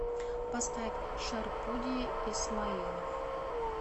поставь шарпуди исмаилов